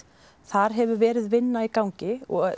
þar hefur verið vinna í gangi og